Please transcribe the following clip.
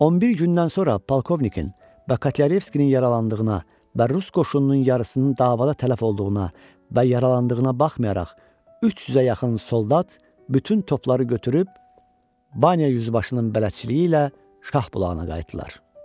11 gündən sonra polkovnikin və Kotlyareviskinin yaralandığına və rus qoşununun yarısının davada tələf olduğuna və yaralandığına baxmayaraq, 300-ə yaxın soldat bütün topları götürüb, Banya yüzbaşının bələdçiliyi ilə Şahbulağına qayıtdılar.